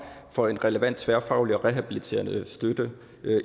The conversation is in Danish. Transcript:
for en relevant tværfaglig og rehabiliterende støtte